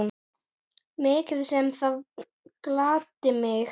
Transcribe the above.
Mikið sem það gladdi mig.